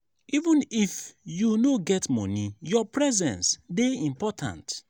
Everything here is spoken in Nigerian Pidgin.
even if you no get moni your presence dey important.